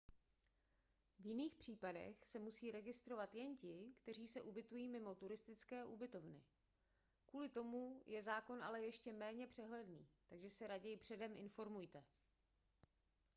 v jiných případech se musí registrovat jen ti kteří se ubytují mimo turistické ubytovny kvůli tomu je zákon ale ještě méně přehledný takže se raději předem informujte